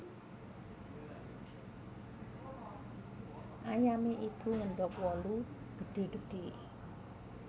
Ayame Ibu ngendog wolu gedhe gedhe